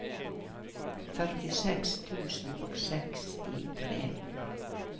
førtiseks tusen og sekstitre